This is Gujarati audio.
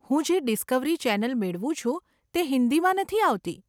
હું જે ડિસ્કવરી ચેનલ મેળવું છું તે હિંદીમાં નથી આવતી.